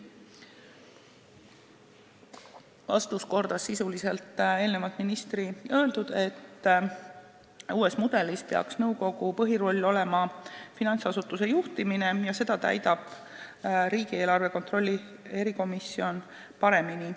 Vastus kordas sisuliselt ministri öeldut, et uue mudeli järgi peaks nõukogu põhiroll olema finantsasutuse juhtimine ja seda rolli täidab riigieelarve kontrolli erikomisjon paremini.